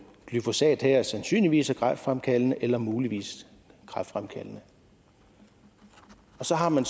glyfosat her sandsynligvis er kræftfremkaldende eller muligvis kræftfremkaldende og så har man